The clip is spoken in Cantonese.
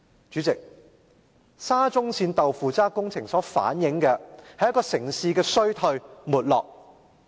"主席，沙中線"豆腐渣"工程反映的是一個城市的衰退和沒落。